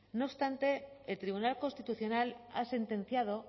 no obstante el tribunal constitucional ha sentenciado